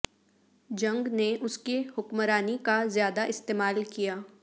جنگ نے اس کے حکمرانی کا زیادہ استعمال کیا